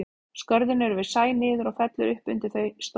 Skörðin eru við sæ niður og fellur upp undir þau um stórflæði.